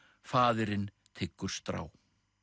faðirinn tyggur strá